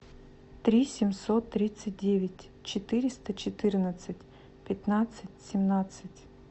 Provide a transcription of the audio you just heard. три семьсот тридцать девять четыреста четырнадцать пятнадцать семнадцать